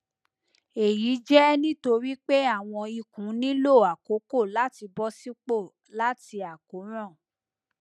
eyi jẹ nitori pe awọn ikun nilo akoko lati bọsipọ lati akoran